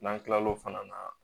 N'an kila l'o fana na